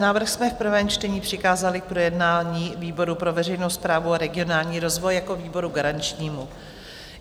Návrh jsme v prvém čtení přikázali k projednání výboru pro veřejnou správu a regionální rozvoj jako výboru garančnímu.